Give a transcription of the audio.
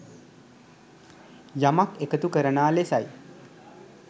යමක් එකතු කරනා ලෙසයි.